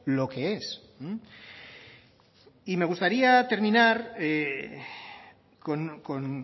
lo que es y me gustaría terminar con